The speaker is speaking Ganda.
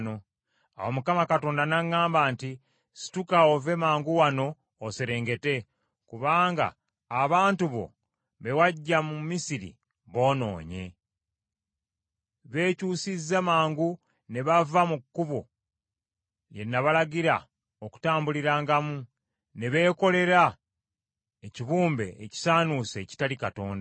Awo Mukama Katonda n’aŋŋamba nti, “Situka ove mangu wano oserengete, kubanga abantu bo be waggya mu Misiri boonoonye. Beekyusizza mangu ne bava mu kkubo lye nabalagira okutambulirangamu, ne beekolera ekibumbe ekisaanuuse ekitali Katonda.”